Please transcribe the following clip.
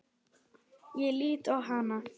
Ég lít á hana.